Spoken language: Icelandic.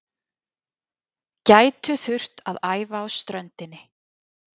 Gætu þurft að æfa á ströndinni